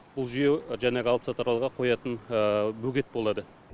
бұл жүйе жаңағы алыпсатарларға қоятын бөгет болады